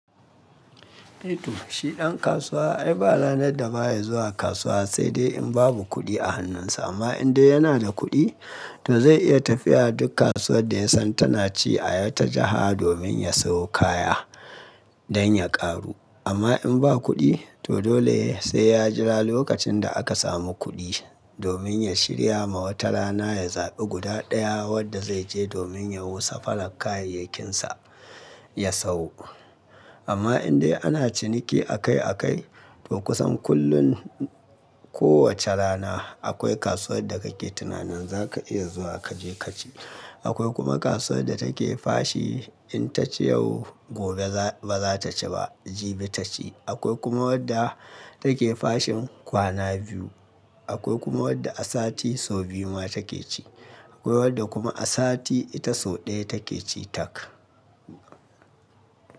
Eh to, shi ɗan kasuwa ai ba ranar da ba ya zuwa kasuwa sai dai in babu kuɗi a hannunsa. Amma indai yana da kuɗi, to zai iya tafiya dukkan kasuwar da ya san tana ci a wata jiha domin ya siyo kaya dan ya ƙaru. Amma in ba kuɗi, to dole sai ya jira lokacin da aka samu kuɗi domin ya shirya ma wata rana ya zaɓi guda ɗaya wadda zai je domin yawo safarar kayayyakinsa ya sayo. Amma indai ana ciniki akai akai, to kusan kullum ko wace rana akwai kasuwar da kake tunanin za ka iya zuwa kaje kaci. Akwai kuma kasuwar da take fashi in ta ci yau, gobe ba za ta ci ba, jibi ta ci. Akwai kuma wadda take fashin kwana biyu. Akwai kuma wadda a sati sau biyu ma take ci. Akwai wadda kuma a sati ita sau ɗaya take ci taka.